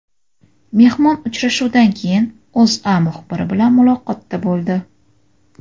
Mehmon uchrashuvdan keyin O‘zA muxbiri bilan muloqotda bo‘ldi .